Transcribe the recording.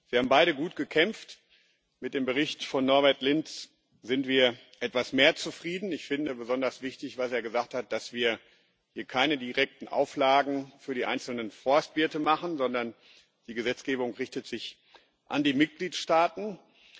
Sie haben beide gut gekämpft. Mit dem Bericht von Norbert Lins sind wir etwas mehr zufrieden. Ich finde besonders wichtig, was er gesagt hat, dass wir hier keine direkten Auflagen für die einzelnen Forstwirte machen, sondern die Gesetzgebung sich an die Mitgliedstaaten richtet.